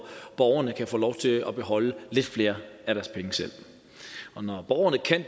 borgerne kan få lov til at beholde lidt flere af deres penge selv og når borgerne kan